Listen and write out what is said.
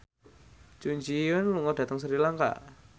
Jun Ji Hyun lunga dhateng Sri Lanka